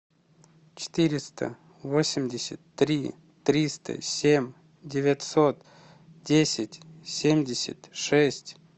четыреста восемьдесят три триста семь девятьсот десять семьдесят шесть